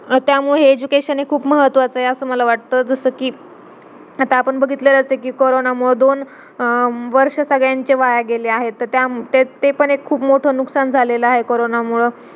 त्यामुळ हे education खूप महत्वाच आहे असा मल वाटत जस कि आता आपण बघितलच आहे कि corona मूळ दोन अं वर्ष सगळ्यांचे वाया गेलेले आहे त ते पण एक खूप मोठा नुकसान झाला आहे corona मूळ